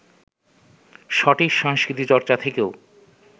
সঠিক সংস্কৃতিচর্চা থেকেও